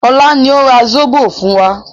Ọlá ni ó ra zobo fún wa